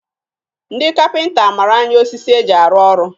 Ndị kapịnta mara anya osisi e ji arụ ọrụ